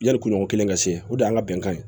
Yali kuɲɔgɔn kelen ka se o de y'an ka bɛnkan ye